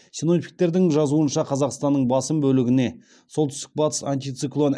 синоптиктердің жазуынша қазақстанның басым бөлігіне солтүстік батыс антициклон